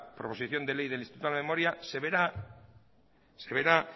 proposición de ley del instituto de la memoria se verá